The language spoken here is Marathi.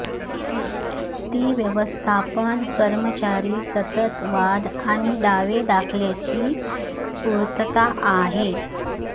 ती व्यवस्थापन कर्मचारी सतत वाद आणि दावे दाखल्याची पूर्तता आहे